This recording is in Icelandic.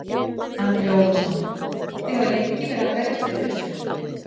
Andri Ólafsson: Þið hafið lengi verið að berjast fyrir þessu?